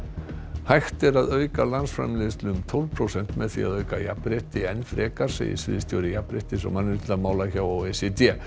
hægt er að auka landsframleiðslu um tólf prósent með því að auka jafnrétti enn frekar segir sviðsstjóri jafnréttis og mannréttindamála hjá o e c d